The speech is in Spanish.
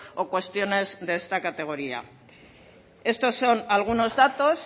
o cuestiones de esta categoría estos son algunos datos